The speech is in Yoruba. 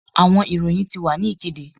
Awọn iroyin ti wa ni ikede